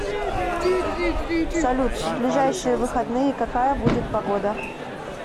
салют в ближайшие выходные какая будет погода